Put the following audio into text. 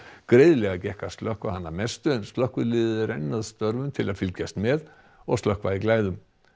greiðlega gekk að slökkva hann að mestu en slökkvilið er enn að störfum til að fylgjast með og slökkva í glæðum